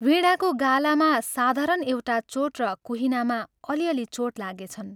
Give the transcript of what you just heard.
वीणाको गालामा साधारण एउटा चोट र कुहिनामा अलि अलि चोट लागेछन्।